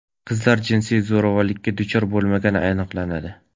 Qizlar jinsiy zo‘ravonlikka duchor bo‘lmagani aniqlanadi.